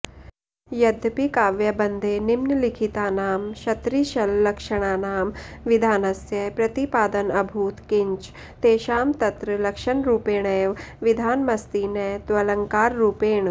यद्यपि काव्यबन्धे निम्नलिखितानां षत्रिशल्लक्षणानां विधानस्य प्रतिपादनऽभूत् किञ्च तेषां तत्र लक्षणरूपेणैव विधानमस्ति न त्वलङ्काररूपेण